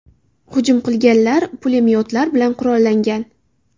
Hujum qilganlar pulemyotlar bilan qurollangan.